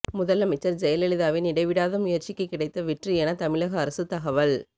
முதலமைச்சர் ஜெயலலிதாவின் இடைவிடாத முயற்சிக்கு கிடைத்த வெற்றி என தமிழக அரசு தகவல்